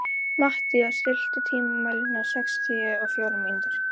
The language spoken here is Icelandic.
Mathías, stilltu tímamælinn á sextíu og fjórar mínútur.